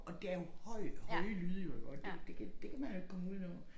Og det er jo høj høje lyde jo iggå det det kan det kan man jo ikke komme udenom